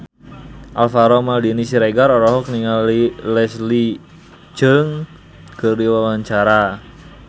Alvaro Maldini Siregar olohok ningali Leslie Cheung keur diwawancara